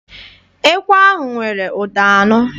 Ekwe ahụ nwere ụda anọ.